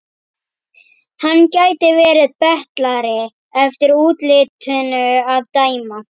Hann gæti verið betlari eftir útlitinu að dæma.